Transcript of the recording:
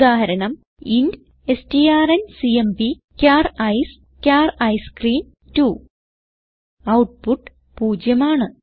ഉദാഹരണം ഇന്റ് strncmpചാർ I C E char ice cream 2 output 0 ആണ്